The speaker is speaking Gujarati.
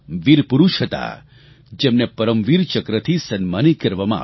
વીર પુરૂષ હતા જેને પરમવીર ચક્રથી સન્માનિત કરવામાં આવ્યા